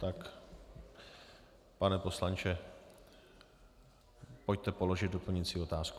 Tak, pane poslanče, pojďte položit doplňující otázku.